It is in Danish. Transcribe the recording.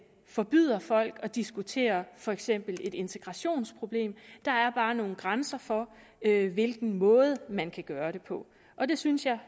forbyder folk at diskutere for eksempel et integrationsproblem der er bare nogle grænser for hvilken måde man kan gøre det på og det synes jeg